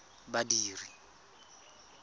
badiri